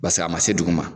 Basa a ma se duguma